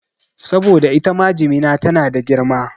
Saboda itama jimina tana da girma